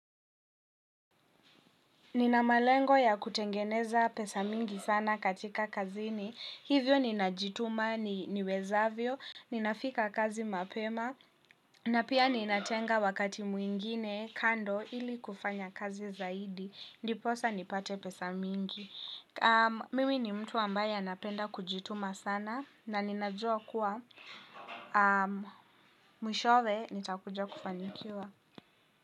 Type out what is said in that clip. Nina malengo ya kutengeneza pesa mingi sana katika kazini, hivyo ninajituma niwezavyo, ninafika kazi mapema, na pia ninatenga wakati mwingine kando ili kufanya kazi zaidi, ndiposa nipate pesa mingi. Mimi ni mtu ambaye anapenda kujituma sana, na ninajua kuwa mwishowe nitakujua kufanikiwa.